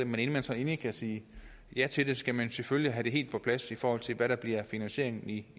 men inden man så endelig kan sige ja til det skal man selvfølgelig have det helt på plads i forhold til hvad der bliver finansieringen i